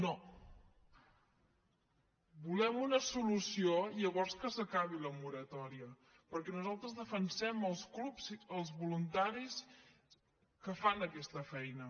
no volem una solució i llavors que s’acabi la moratòria perquè nosaltres defensem els clubs els voluntaris que fan aquesta feina